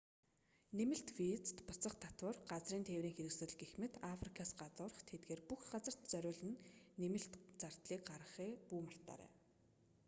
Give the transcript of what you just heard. нэмэлт виз буцах татвар газрын тээврийн хэрэгсэл гэх мэт африкаас гадуурх тэдгээр бүх газарт зориулан нэмэлт зардлыг гаргахаа бүү мартаарай